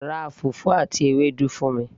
ra fùfú àti Ewédú fún mi